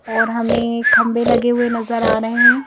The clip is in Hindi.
और हमें खंभे लगे हुए नजर आ रहे हैं।